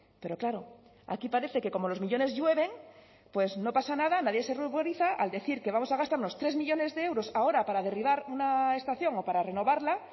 pero claro aquí parece que como los millónes llueven pues no pasa nada nadie se ruboriza al decir que vamos a gastarnos tres millónes de euros ahora para derribar una estación o para renovarla